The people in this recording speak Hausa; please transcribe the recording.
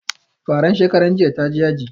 Faran shekaran jiya ta ji yaji